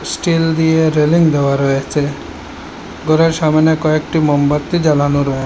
still দিয়ে railing দেওয়া রয়েছে ঘরের সামোনে কয়েকটি মোমবাত্তি জ্বালানো রয়ে--